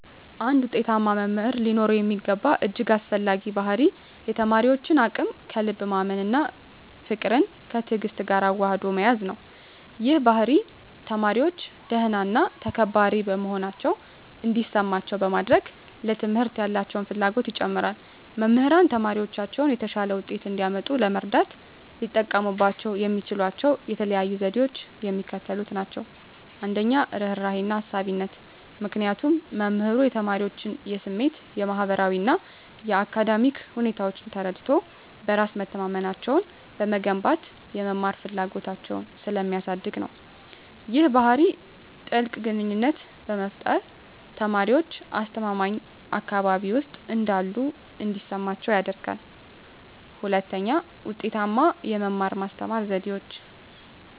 አንድ ውጤታማ መምህር ሊኖረው የሚገባው እጅግ አስፈላጊው ባሕርይ የተማሪዎችን አቅም ከልብ ማመን እና ፍቅርን ከትዕግስት ጋር አዋህዶ መያዝ ነው። ይህ ባሕርይ ተማሪዎች ደህና እና ተከባሪ መሆናቸውን እንዲሰማቸው በማድረግ፣ ለትምህርት ያላቸውን ፍላጎት ይጨምራል። መምህራን ተማሪዎቻቸው የተሻለ ውጤት እንዲያመጡ ለመርዳት ሊጠቀሙባቸው የሚችሏቸው የተለዩ ዘዴዎች የሚከተሉት ናቸው - 1, ርህራሄና አሳቢነት -ምክንያቱም መምህሩ የተማሪዎቹን የስሜት፣ የማህበራዊ እና የአካዳሚክ ሁኔታዎች ተረድቶ፣ በራስ መተማመናቸውን በመገንባት የመማር ፍላጎታቸውን ስለሚያሳድግ ነው። ይህ ባህሪ ጥልቅ ግንኙነትን በመፍጠር፣ ተማሪዎች አስተማማኝ አካባቢ ውስጥ እንዳሉ እንዲሰማቸው ያደርጋል። 2, ውጤታማ የመማር-ማስተማር ዘዴዎች